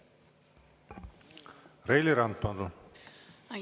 Reili Rand, palun!